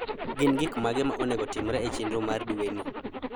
Gin gik mage ma onego otimre e chenro mar dwe ni.